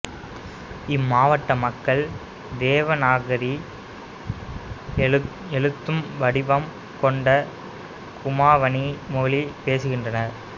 இம்மாவட்ட மக்கள் தேவநாகரி எழுத்து வடிவம் கொண்ட குமாவனி மொழி பேசுகின்றனர்